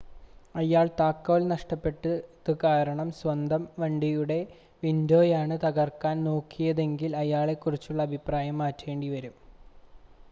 അയാൾ താക്കോൽ നഷ്ടപെട്ടത് കാരണം സ്വന്തം വണ്ടിയുടെ വിൻഡോയാണ് തകർക്കാൻ നോക്കുന്നതെങ്കിൽ അയാളെക്കുറിച്ചുള്ള അഭിപ്രായം മാറ്റേണ്ടിവരും